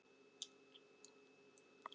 Hina þekkir hann ekki.